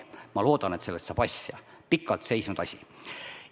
Ma loodan, et sellest saab asja – pikalt seisnud asi.